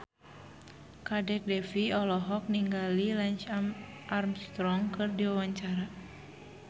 Kadek Devi olohok ningali Lance Armstrong keur diwawancara